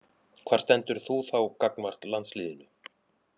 Hvar stendur þú þá gagnvart landsliðinu?